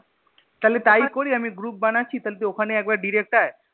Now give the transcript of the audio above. তাহলে তাই করি আমি group বানাচ্ছি তাহলে তুই ওখানে একবার direct আই